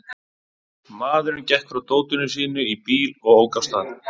Maðurinn gekk frá dótinu sínu í bíl og ók af stað.